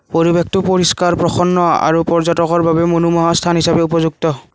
পৰিৱেশটো পৰিষ্কাৰ প্ৰসন্ন আৰু পৰ্যটকৰ বাবে মনোমোহা স্থান হিচাপে উপযুক্ত।